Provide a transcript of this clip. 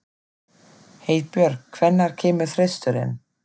Heiðbjörk, hvenær kemur þristurinn?